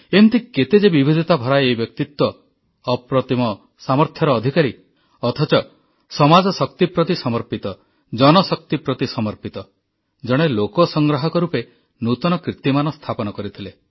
ଏମିତି କେତେ ଯେ ବିବିଧତା ଭରା ଏହି ବ୍ୟକ୍ତିତ୍ୱ ଅପ୍ରତିମ ସାମର୍ଥ୍ୟର ଅଧିକାରୀ ଅଥଚ ସମାଜ ଶକ୍ତି ପ୍ରତି ସମର୍ପିତ ଜନ ଶକ୍ତି ପ୍ରତି ସମର୍ପିତ ଜଣେ ଲୋକ ସଂଗ୍ରାହକ ରୂପେ ନୂତନ କିର୍ତ୍ତୀମାନ ସ୍ଥାପନ କରିଥିଲେ